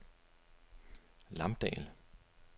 Lamdal